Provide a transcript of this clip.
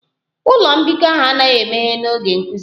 Ụlọ mbikọ ahụ anaghị emeghe n'oge nkuzi